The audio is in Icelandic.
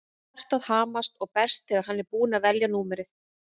Hjartað hamast og berst þegar hann er búinn að velja númerið.